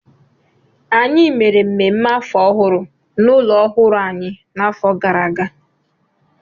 Anyị mere mmemme afọ ọhụrụ n'ụlọ ọhụrụ anyị n'afọ gara aga